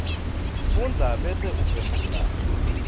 fundza bese uphendvula